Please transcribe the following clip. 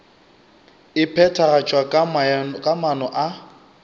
e phethagatšwa ka maano a